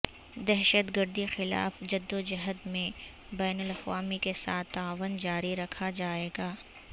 دہشت گردی کے خلاف جدوجہد میں بین الاقوامی کے ساتھ تعاون جاری رکھا جائے گا